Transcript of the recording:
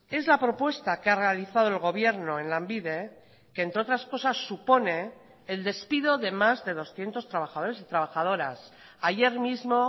es la propuesta que ha realizado el gobierno en lanbide que entre otras cosas supone el despido de más de doscientos trabajadores y trabajadoras ayer mismo